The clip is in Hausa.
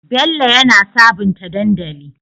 Bello yana sabunta dandali